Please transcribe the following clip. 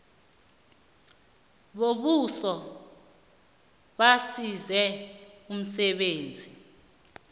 bombuso basize emsebenzini